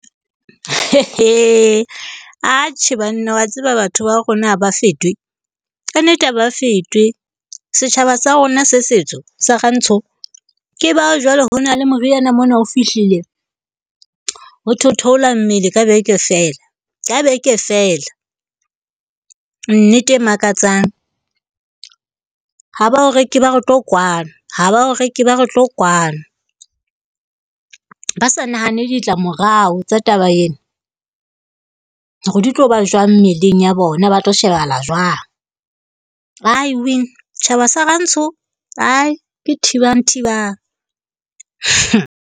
Atjhe banna wa tseba, batho ba rona ha ba fetwe, kannete ha ba fetwe. Setjhaba sa rona se setsho sa Rantsho. Ke bao jwale ho na le moriana mona o fihlile ho thwe o theola mmele ka beke feela ka beke feela, nnete e makatsang. Ha ba o reke, ba re tlo kwano, ha ba o reke ba re tlo kwano. Ba sa nahane ditlamorao tsa taba ena hore di tloba jwang mmeleng ya bona. Ba tlo shebahala jwang. I tjhaba sa Rantsho hai ke thibang thibang .